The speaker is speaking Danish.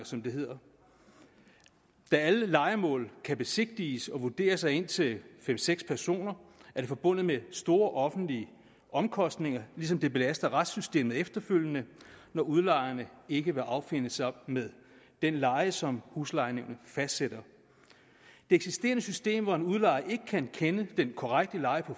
som det hedder da alle lejemål kan besigtiges og vurderes af indtil fem seks personer er det forbundet med store offentlige omkostninger ligesom det belaster retssystemet efterfølgende når udlejerne ikke vil affinde sig med den leje som huslejenævnet fastsætter det eksisterende system hvor en udlejer ikke kan kende den korrekte leje på